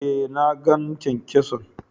Eh, na gan kyan-kyason.